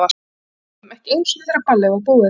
Ég fór ekki heim ekki einu sinni þegar ballið var búið.